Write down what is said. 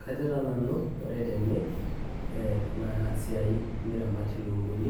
Kajo taa nanu ore tene tenasiai niramat ilukunguni,